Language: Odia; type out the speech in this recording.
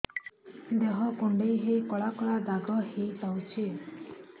ଦେହ କୁଣ୍ଡେଇ ହେଇ କଳା କଳା ଦାଗ ହେଇଯାଉଛି